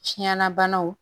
Tiɲɛna banaw